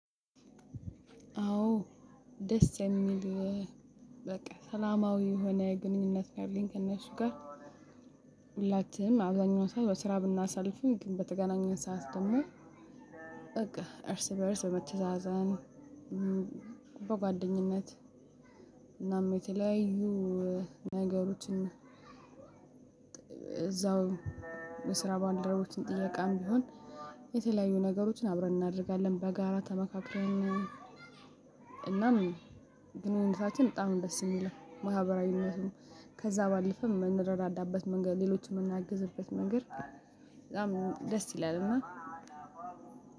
አዎ ደስ የሚል። በቃ ሰላማዊ የሆነ ግንኙነት ካለኝ ከነሱ ጋ። ሁላችንም አብዛኛው ሰዓት በስራ ብናሳልፍም ግን በተገናኘን ሰዓት ደግሞ። በቃ እርስ በእርስ በመተዛዘን። በጓደኝነት- እናም የተለያዩ ነገሮችን። እዛው በስራ ባልደረቦችን ጥያቃም ቢሆን- የተለያዩ ነገሮችን አብረን እናደርጋለን። በጋራ ተመካክረን- እናም ግንኙነታችን በጣም ነው ደስ የሚለው ማህበራዊነቱ ነው። ከዛ ባለፈ የምንረዳዳበት መንገድ ሌሎችን የምናግዝበት መንገድ። በጣም ደስ ይላልና-